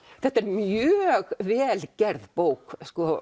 þetta er mjög vel gerð bók